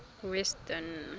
western